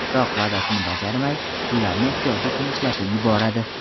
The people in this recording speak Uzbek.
Biroq va’dasini bajarmay, pullarni ehtiyoji uchun ishlatib yuboradi.